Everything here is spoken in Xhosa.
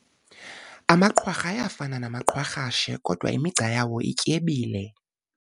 Amaqwarha ayafana namaqwarhashe kodwa imigca yawo ityebile.